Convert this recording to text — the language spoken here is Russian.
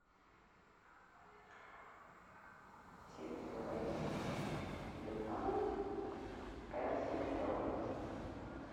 чипсы лейс с беконом пепси литровая